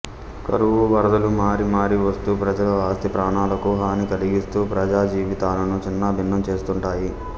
కరువు వరదలు మారి మారి వస్తూ ప్రజల ఆస్తి ప్రాణాలకు హాని కలిగిస్తూ ప్రజాజీవితాలను చిన్నాభిన్నం చేస్తుంటాయి